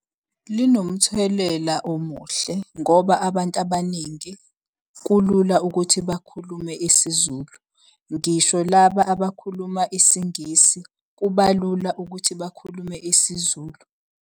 Linomthelela omuhle ngoba abantu abaningi kulula ukuthi bakhulume isiZulu, ngisho laba abakhuluma isiNgisi kuba lula ukuthi bakhulume isiZulu.